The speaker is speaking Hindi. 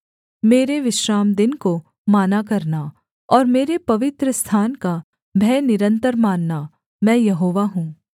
मेरे विश्रामदिन को माना करना और मेरे पवित्रस्थान का भय निरन्तर मानना मैं यहोवा हूँ